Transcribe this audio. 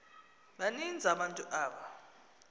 baninzi abantu aba